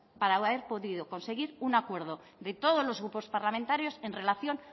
para haber podido conseguir un acuerdo de todos los grupos parlamentarios en relación